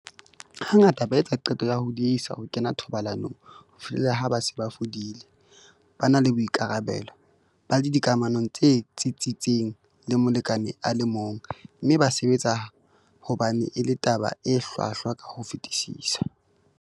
Hangata ba etsa qeto ya ho diehisa ho kena thobalanong ho fihlela ha ba se ba hodile, ba na le boikarabelo, ba le dikamanong tse tsitsitseng le molekane a le mong, mme ba sebetsa hobane e le taba e hlwahlwa ka ho fetisisa.